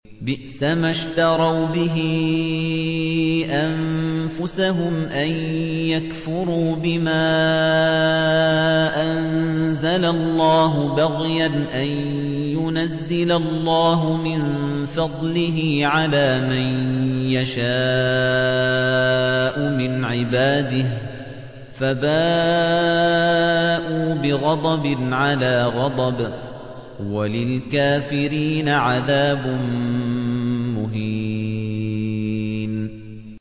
بِئْسَمَا اشْتَرَوْا بِهِ أَنفُسَهُمْ أَن يَكْفُرُوا بِمَا أَنزَلَ اللَّهُ بَغْيًا أَن يُنَزِّلَ اللَّهُ مِن فَضْلِهِ عَلَىٰ مَن يَشَاءُ مِنْ عِبَادِهِ ۖ فَبَاءُوا بِغَضَبٍ عَلَىٰ غَضَبٍ ۚ وَلِلْكَافِرِينَ عَذَابٌ مُّهِينٌ